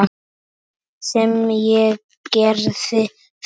Sem ég gerði þá.